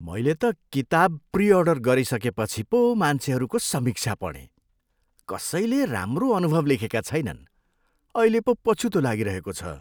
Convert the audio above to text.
मैले त किताब प्री अर्डर गरिसकेपछि पो मान्छेहरूको समीक्षा पढेँ। कसैले राम्रो अनुभव लेखेका छैनन्! अहिले पो पछुतो लागिरहेको छ।